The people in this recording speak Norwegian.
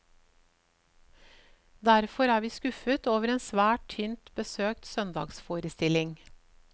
Derfor er vi skuffet over en svært tynt besøkt søndagsforestilling.